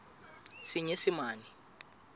senyesemane